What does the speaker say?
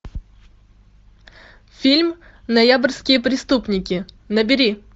фильм ноябрьские преступники набери